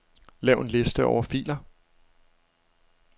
Lav en liste over filer.